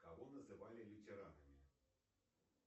кого называли ветеранами